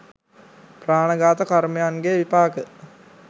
ප්‍රාණඝාත කර්මයන් ගේ විපාක